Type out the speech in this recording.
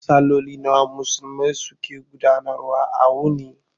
Salloli nawa Musulmai su ke gudanar wa a wuni?